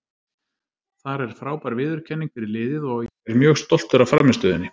Þar er frábær viðurkenning fyrir liðið og ég er mjög stoltur af frammistöðunni.